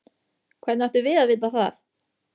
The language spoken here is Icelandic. Hvernig áttum við að vita það?